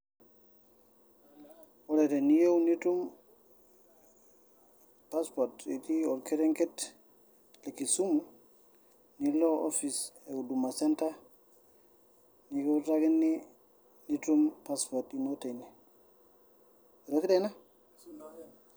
Ore teniyieu nitum passport itiii orkerenke le Kisumu nilo office e uduma center nikiutakini nitum passport ino teine.